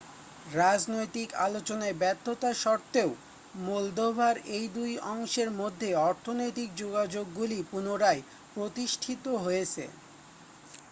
রাজনৈতিক আলোচনায় ব্যর্থতা সত্ত্বেও মোলদোভার এই দুই অংশের মধ্যে অর্থনৈতিক যোগাযোগগুলি পুনরায় প্রতিষ্ঠিত হয়েছে